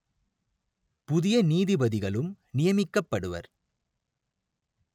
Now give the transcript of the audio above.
புதிய நீதிபதிகளும் நியமிக்கப்படுவர்